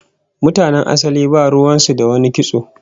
Mutanen asali ba ruwan su da wani kitso